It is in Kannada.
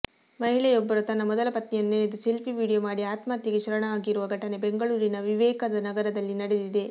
ಮಹಿಳೆಯೊಬ್ಬರು ತನ್ನ ಮೊದಲ ಪತಿಯನ್ನು ನೆನೆದು ಸೆಲ್ಫಿ ವೀಡಿಯೋ ಮಾಡಿ ಆತ್ಮಹತ್ಯೆಗೆ ಶರಣಾಗಿರುವ ಘಟನೆ ಬೆಂಗಳೂರಿನ ವಿವೇಕ ನಗರದಲ್ಲಿ ನಡೆದಿದೆ